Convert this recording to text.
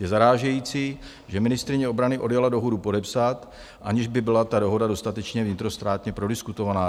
Je zarážející, že ministryně obrany odjela dohodu podepsat, aniž by byla ta dohoda dostatečně vnitrostátně prodiskutovaná.